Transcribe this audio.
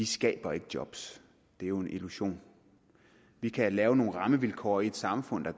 skaber ikke job det er jo en illusion vi kan lave nogle rammevilkår i samfundet